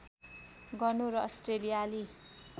गर्नु र अस्ट्रेलियाली